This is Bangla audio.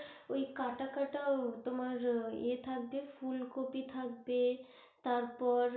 ওই কাটা কাটা তোমার ইয়ে থাকবে ফুলকপি থাকবে তারপর,